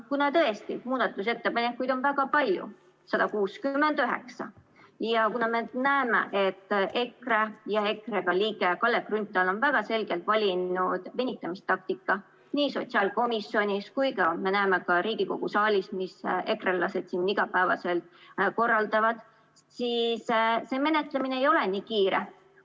Kuna tõesti muudatusettepanekuid on väga palju, 169, ja kuna me näeme, et EKRE ja EKRE liige Kalle Grünthal on väga selgelt valinud venitamistaktika nii sotsiaalkomisjonis kui ka Riigikogu saalis – me näeme, mis ekrelased siin igapäevaselt korraldavad –, siis see menetlemine ei ole nii kiire.